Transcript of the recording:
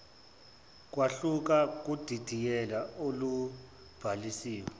kwahluka kudidiyelo olubhalisiwe